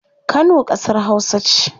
Kano kasar hausa ce